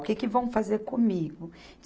O que que vão fazer comigo?